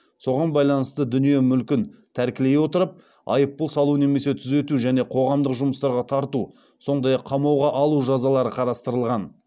соған байланысты дүние мүлкін тәркілей отырып айыппұл салу немесе түзету және қоғамдық жұмыстарға тарту сондай ақ қамауға алу жазалары қарастырылған